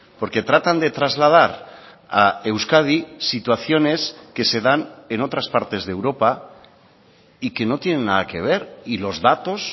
porque tratan de trasladar a euskadi situaciones que se dan en otras partes de europa y que no tienen nada que ver y los datos